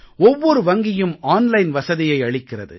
ஒவ்வொரு வங்கியும் ஆன்லைன் வசதியை அளிக்கிறது